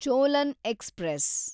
Cholan express